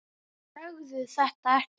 Segðu þetta ekki.